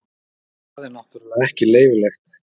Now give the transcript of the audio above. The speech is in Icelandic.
Það er náttúrulega ekki leyfilegt.